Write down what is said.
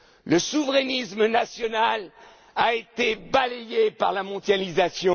Le souverainisme national a été balayé par la mondialisation.